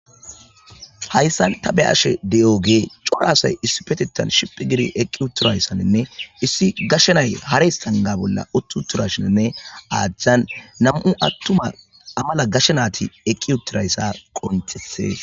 hayssan ta be'ashe de7oge coraasay issi petettan shiphi gidi eqqi utturayssaninne issi gashenay hares tanga bolla utt utturashaninne aadhjhan nam7u attuma amala gashenaati eqqi uttirayssa qontethees